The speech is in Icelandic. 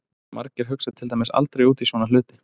Margir hugsa til dæmis aldrei út í svona hluti!